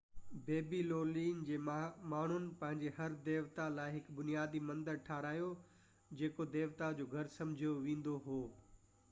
بيبي لونين جي ماڻهن پنهنجي هر ديوتا لاءِ هڪ بنيادي مندر ٺهرايو جيڪو ديوتا جو گهر سمجهيو ويندو هو